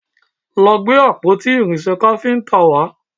Lọ gbé àpótí irinṣẹ́ káfíntà wá!